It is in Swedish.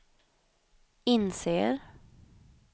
inser